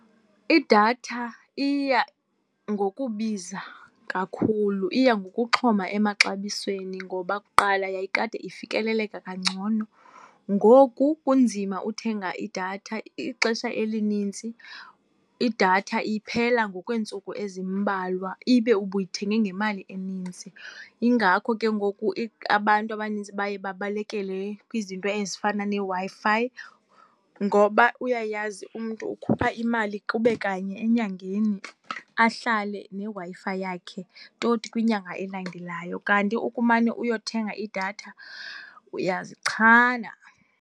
Idatha iya ngokubiza kakhulu, iya ngokuxhoma emaxabisweni ngoba kuqala yayikade ifikeleleka kangcono. Ngoku kunzima uthenga idatha, ixesha elinintsi idatha iphela ngokweentsuku ezimbalwa ibe ubuyithenge ngemali enintsi. Yingako ke ngoku abantu abanintsi baye babalekele kwizinto ezifana neWi-Fi ngoba uyayazi umntu ukhupha imali kube kanye enyangeni ahlale neWi-Fi yakhe toti kwinyanga elandelayo, kanti ukumane uyothenga idatha uyazichana.